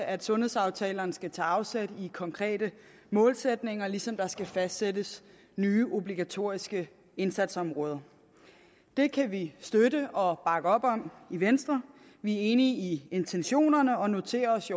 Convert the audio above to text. at sundhedsaftalerne også skal tage afsæt i konkrete målsætninger ligesom der skal fastsættes nye obligatoriske indsatsområder det kan vi støtte og bakke op om i venstre vi er enige i intentionerne og noterer os